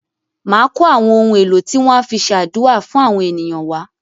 Màá kó àwọn ohun èlò tí wọn á fi se àdúà fún àwọn ènìyàn wá.